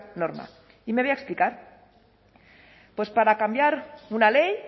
norma y me voy a explicar para cambiar una ley